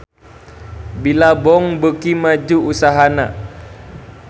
Billabong beuki maju usahana